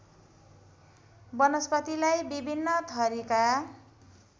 वनस्पतिलाई विभिन्न थरीका